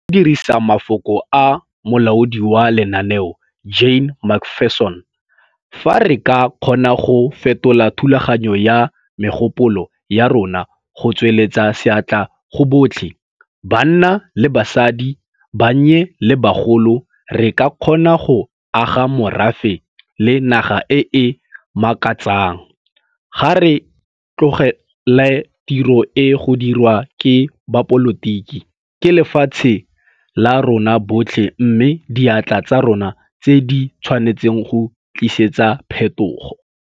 Ka go dirisa mafoko a molaodi wa lenaneo, Jane McPherson - 'Fa re ka kgona go fetola thulaganyo ya megopolo ya rona go tsweletsa seatla go botlhe, banna le basadi, bannye le bagolo re ka kgona go aga morafe le naga e e makatsang, ga re tlogele tiro e go dirwa ke bapolotiki, ke lefatshe la rona botlhe mme diatla tsa rona tse di tshwanetseng go tlisetsa phethogo'.